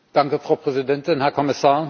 Frau Präsidentin, Herr Kommissar!